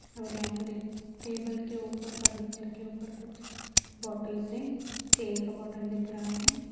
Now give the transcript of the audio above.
और यहाँ पर एक टेबल के ऊपर फर्नीचर के ऊपर कुछ बोटल से तेल का बॉटल दिख रहा है।